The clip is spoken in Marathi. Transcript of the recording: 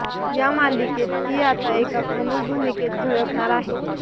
या मालिकेत ती आता एका प्रमुख भूमिकेत झळकणार आहे